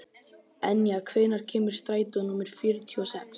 Enja, hvenær kemur strætó númer fjörutíu og sex?